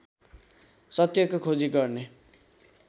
सत्यको खोजी गर्ने